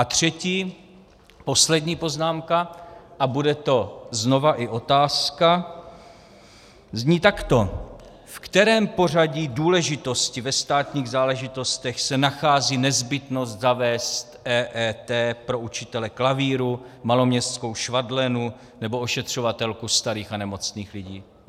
A třetí, poslední poznámka, a bude to znova i otázka, zní takto: V kterém pořadí důležitosti ve státních záležitostech se nachází nezbytnost zavést EET pro učitele klavíru, maloměstskou švadlenu nebo ošetřovatelku starých a nemocných lidí?